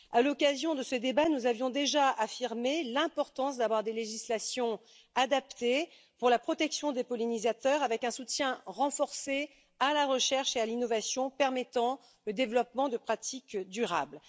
À l'occasion de ce débat, nous avions déjà affirmé l'importance d'avoir des législations adaptées pour la protection des pollinisateurs, avec un soutien renforcé à la recherche et à l'innovation, permettant le développement de pratiques durables.